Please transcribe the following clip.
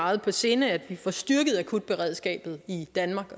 meget på sinde at vi får styrket akutberedskabet i danmark